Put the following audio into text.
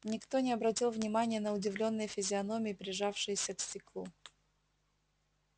никто не обратил внимания на удивлённые физиономии прижавшиеся к стеклу